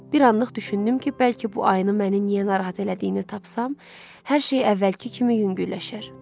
Bir anlıq düşündüm ki, bəlkə bu ayını məni niyə narahat elədiyini tapsam, hər şey əvvəlki kimi yüngülləşər.